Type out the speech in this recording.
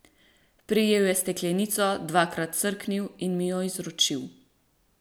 Prijel je steklenico, dvakrat srknil in mi jo izročil.